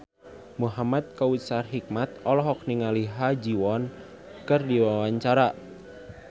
Muhamad Kautsar Hikmat olohok ningali Ha Ji Won keur diwawancara